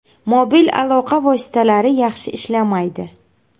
Mobil aloqa vositalari yaxshi ishlamaydi.